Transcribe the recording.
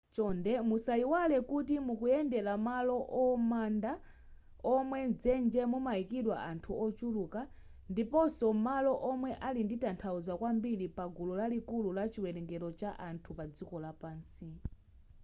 chonde musayiwale kuti mukuyendera malo amanda omwe mdzenje mumayikidwa anthu ochuluka ndiponso malo omwe ali ndi tanthauzo kwambiri pagulu lalikulu la chiwerengero cha anthu padziko lapansi